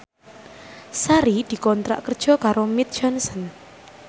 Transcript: Sari dikontrak kerja karo Mead Johnson